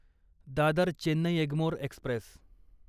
Dadar Chennai Egmore Express